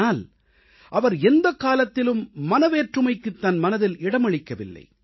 ஆனால் அவர் எந்தக்காலத்திலும் மனவேற்றுமைக்குத் தன் மனதில் இடமளிக்கவில்லை